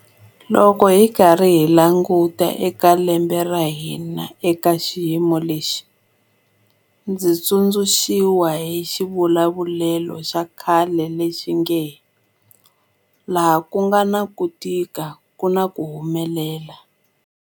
Loko hi karhi hi languta eka lembe ra hina eka xiyimo lexi, ndzi tsundzuxiwa hi xivulavulelo xa khale lexi nge 'laha ku nga na ku tika ku na ku humelela'.